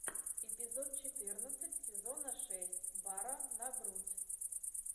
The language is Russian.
эпизод четырнадцать сезона шесть бара на грудь